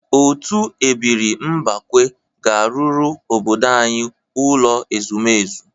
Otu ebiri mbakwe ga-arụrụ obodo anyị ụlọ ezumezu.